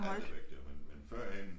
Alt er væk jo men men førhen